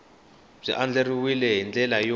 byi andlariwile hi ndlela yo